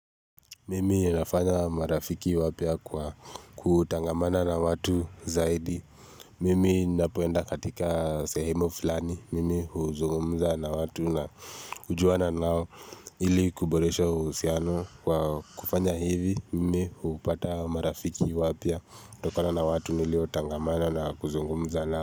Mimi nafanya marafiki wapya kutangamana na watu zaidi. Mimi napoenda katika sehemu fulani. Mimi uzungumza na watu na hujuana nao ili kuboreshe uhusiano wa kufanya hivi. Mimi hupata marafiki wapya kutokona na watu nilio tangamana na kuzungumza nao.